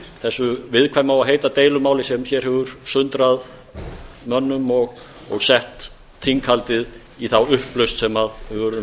þessu viðkvæma og heita deilumáli sem hér hefur sundrað mönnum og sett þinghaldið í þá upplausn sem við urðum